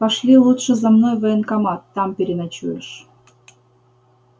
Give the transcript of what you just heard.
пошли лучше за мной в военкомат там переночуешь